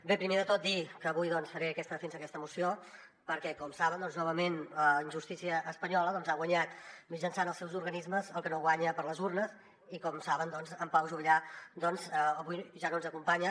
bé primer de tot dir que avui faré aquesta defensa d’aquesta moció perquè com saben doncs novament la injustícia espanyola ha guanyat mitjançant els seus organismes el que no guanya per les urnes i com saben en pau juvillà avui ja no ens acompanya